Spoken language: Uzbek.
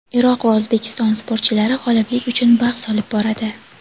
Iroq va O‘zbekiston sportchilari g‘oliblik uchun bahs olib boradi.